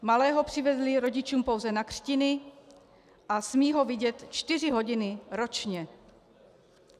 Malého přivezli rodičům pouze na křtiny a smí ho vidět čtyři hodiny ročně.